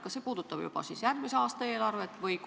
Kas see puudutab juba järgmise aasta eelarvet?